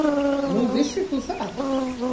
Nú, vissir þú það?